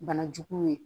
Bana juguw ye